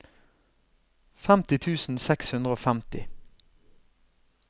femti tusen seks hundre og femti